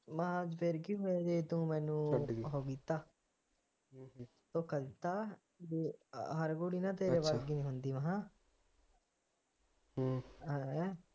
ਮੈ ਕਹਿਆ ਫਿਰ ਕਿ ਹੋਇਆ ਜੇ ਤੂੰ ਮੈਨੂੰ ਉਹ ਕੀਤਾ ਧੋਖਾ ਦਿੱਤਾ ਹਰ ਕੁੜੀ ਨਾ ਤੇਰੇ ਵਰਗੀ ਨਹੀਂ ਹੁੰਦੀ ਹੇਨਾ